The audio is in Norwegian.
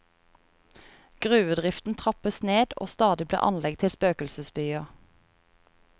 Gruvedriften trappes ned, og stadig blir anlegg til spøkelsesbyer.